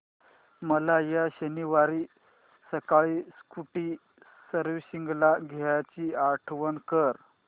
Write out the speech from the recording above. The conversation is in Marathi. मला या शनिवारी सकाळी स्कूटी सर्व्हिसिंगला द्यायची आठवण कर